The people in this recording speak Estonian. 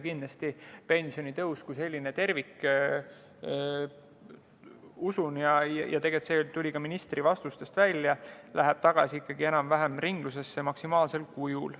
Kindlasti pensionitõus kui tervik – usun, ja tegelikult tuli see ka ministri vastustest välja – läheb tagasi ringlusesse ikkagi enam-vähem maksimaalsel kujul.